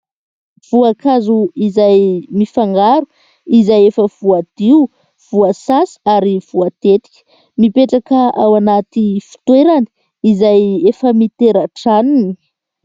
Voankazo izay mifangaro izay efa voadio, voasasa ary voatetika. Mipetraka ao anaty fitoerana izay efa mitera-dranony.